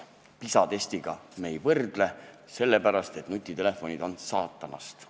PISA-testi me ei vaata, sest nutitelefonid on saatanast.